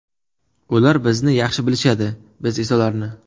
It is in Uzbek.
Ular bizni yaxshi bilishadi, biz esa ularni.